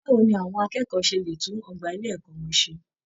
Báwo ni àwọn akẹ́kọ̀ọ́ ṣe lè tún ọgbà ilé ẹ̀kọ́ wọn ṣe?